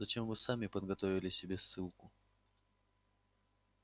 зачем вы сами подготовили себе ссылку